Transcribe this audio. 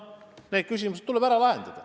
Need küsimused tuleb ära lahendada.